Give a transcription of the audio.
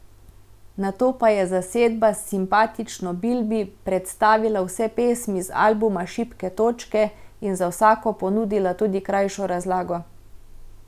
Nato pa je zasedba s simpatično Bilbi predstavila vse pesmi z albuma Šibke točke in za vsako ponudila tudi krajšo razlago.